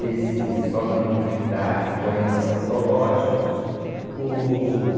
Esse Solano Trindade, poemas antológicos. Uh